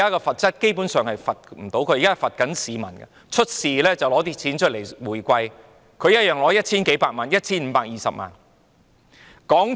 發生問題時，港鐵公司便出錢作回饋，他一樣可以收取 1,520 萬元。